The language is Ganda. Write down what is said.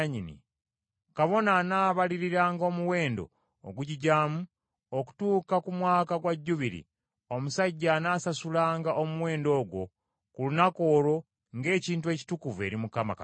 kabona anaabaliriranga omuwendo ogugigyamu okutuuka ku mwaka gwa Jjubiri, omusajja anaasasulanga omuwendo ogwo ku lunaku olwo ng’ekintu ekitukuvu eri Mukama Katonda.